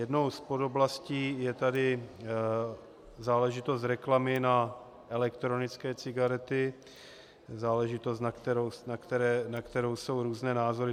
Jednou z podoblastí je tady záležitost reklamy na elektronické cigarety, záležitost, na kterou jsou různé názory.